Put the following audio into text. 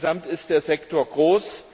Denn insgesamt ist der Sektor groß.